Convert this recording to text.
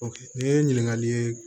ni ye ɲininkali ye